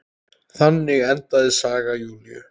Þannig endaði saga Júlíu.